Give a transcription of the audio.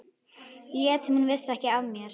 Lét sem hún vissi ekki af mér.